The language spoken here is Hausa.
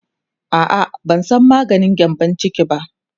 a'a ban San maganin gyambun ciki ba